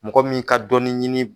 Mɔgɔ min ka dɔɔnin ɲini